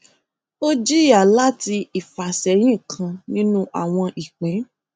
ó jìyà láti ifàsẹyìn kan nínú àwọn ìpín